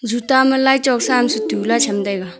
juta am laichuk sa am setu lah tham taiga.